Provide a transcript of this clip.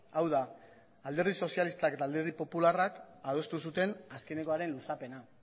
hau da alderdi sozialistak eta alderdi popularrak adostu zuten azkenekoaren luzapena